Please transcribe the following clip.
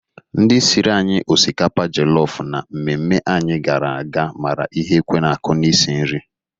Ndị siri anyị osikapa jọlọfụ na mmemme anyị gara aga mara ihe ekwe na-akụ n'isi nri.